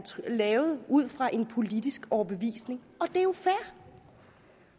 lavet ud fra en politisk overbevisning og det er jo fair